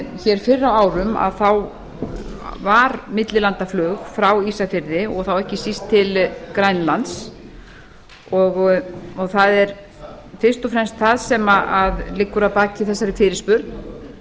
fyrr á árum var millilandaflug frá ísafirði og þá ekki síst til grænlands og það er fyrst og fremst það sem liggur að baki þessari